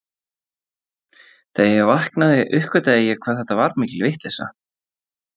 Þegar ég vaknaði uppgötvaði ég hvað þetta var mikil vitleysa.